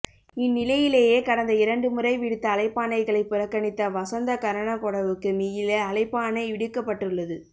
இந்நிலையிலேயே கடந்த இரண்டு முறை விடுத்த அழைப்பாணைகளை புறக்கணித்த வசந்த கரன்னகொடவுக்கு மீள அழைப்பாணை விடுக்கப்பட்டுள்ளது